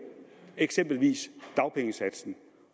eksempelvis dagpengesatsen